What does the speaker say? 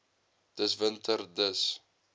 dis winter dis